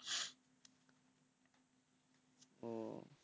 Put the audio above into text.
ও